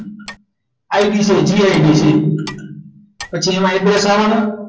I be તો give પછી migraines